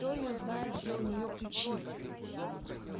кто её знает где у ней ключи